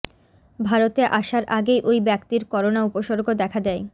ভারতে আসার আগেই ওই ব্যক্তির করোনা উপসর্গ দেখা দেয়